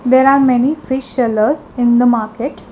there are many fish seller in the market.